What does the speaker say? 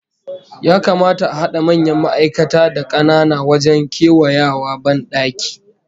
Ya kamata a hada manyan ma'aikata da kanana wajen kewayawa bandaki?